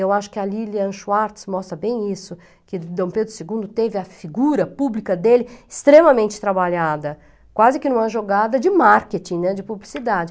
Eu acho que a Lilian Schwartz mostra bem isso, que Dom Pedro segundo teve a figura pública dele extremamente trabalhada, quase que em uma jogada de marketing, né, de publicidade.